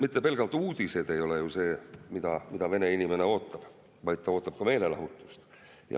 Mitte pelgalt uudised ei ole ju see, mida vene inimene ootab, vaid ta ootab ka meelelahutust.